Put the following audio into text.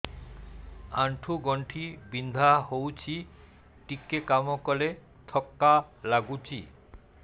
ଆଣ୍ଠୁ ଗଣ୍ଠି ବିନ୍ଧା ହେଉଛି ଟିକେ କାମ କଲେ ଥକ୍କା ଲାଗୁଚି